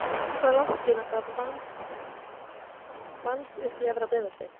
Hvað er langt síðan það vannst uppi í efra Breiðholti?